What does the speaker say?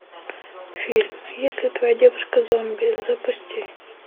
фильм если твоя девушка зомби запусти